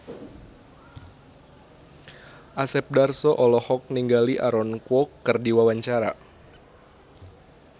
Asep Darso olohok ningali Aaron Kwok keur diwawancara